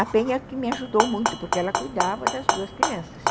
A Penha que me ajudou muito, porque ela cuidava das duas crianças.